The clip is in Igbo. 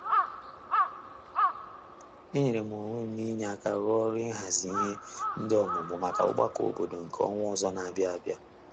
E nyere m onwe m n'inye aka rụ ọrụ ịhazi ihe nde ọmụmụ maka ọgbakọ obodo nke ọnwa ọzọ na a bịa abịa.